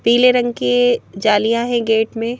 पीले रंग की जालियां है गेट में--